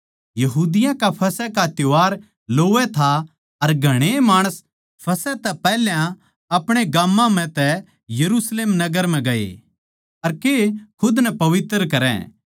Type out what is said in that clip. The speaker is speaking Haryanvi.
यहूदियाँ का फसह का त्यौहार लोवै था अर घणेए माणस फसह तै पैहल्या अपणे गाम्मां म्ह तै यरुशलेम नगर म्ह गए के खुद नै पवित्र करै